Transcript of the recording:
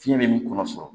Fiɲɛ bɛ min kɔnɔ sɔrɔ